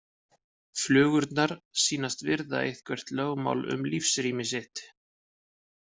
Flugurnar sýnast virða eitthvert lögmál um lífsrými sitt.